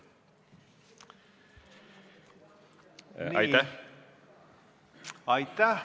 Nii, aitäh!